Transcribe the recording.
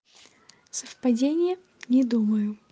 совпадение не думаю